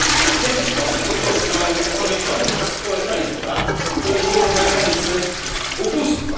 W jaki sposób te koszty mają być poniesione przez społeczeństwa, które żyją na granicy ubóstwa?